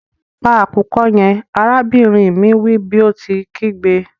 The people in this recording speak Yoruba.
Pa akukọ yẹn! arabinrin mi wi bi o ti nkigbe.